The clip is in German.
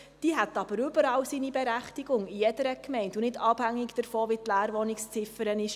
Diese hätte jedoch überall seine Berechtigung, in jeder Gemeinde, und nicht abhängig davon, wie hoch die Leerwohnungsziffer ist.